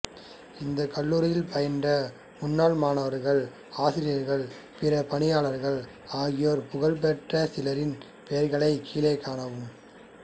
இந்த கல்லூரியில் பயின்ற முன்னாள் மாணவர்கள் ஆசிரியர்கள் பிற பணியாளர்கள் ஆகியோர் புகழ் பெற்ற சிலரின் பெயர்களை கீழே காணவும்